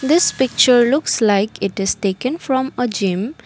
this picture looks like it is taken from a gym.